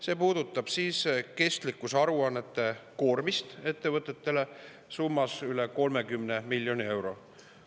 See puudutab kestlikkusaruannete koormist ettevõtetele summas üle 30 miljoni euro.